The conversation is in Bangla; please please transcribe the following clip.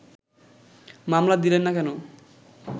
মামলা দিলেন না কেন